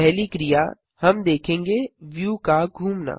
पहली क्रिया हम देखेंगे व्यू का घुमना